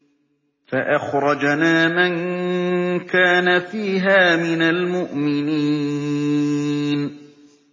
فَأَخْرَجْنَا مَن كَانَ فِيهَا مِنَ الْمُؤْمِنِينَ